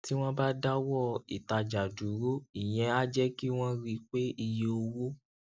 tí wón bá dáwó ìtajà dúró ìyẹn á jé kí wón rí i pé iye owó